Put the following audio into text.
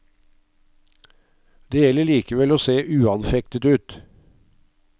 Det gjelder likevel å se uanfektet ut.